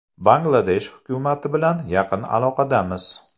Bangladesh hukumati bilan yaqin aloqadamiz.